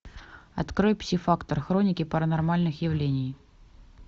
открой пси фактор хроники паранормальных явлений